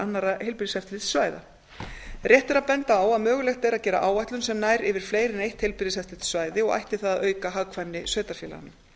annarra heilbrigðiseftirlitssvæða rétt er að benda á að mögulegt er að gera áætlun sem nær yfir fleiri en eitt heilbrigðiseftirlitssvæði ætti það að auka hagkvæmni sveitarfélaganna